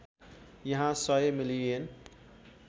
यहाँ १०० मिलियन